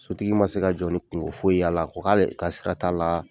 Sotigi man se ka jɔ ni kungo foyi y'ala a ko k'ale ka sira t'a la.